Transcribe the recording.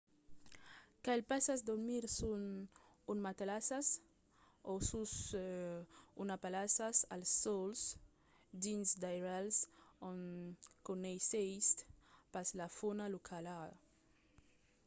cal pas dormir sus un matalàs o sus una palhassa al sòl dins d'airals ont coneissètz pas la fauna locala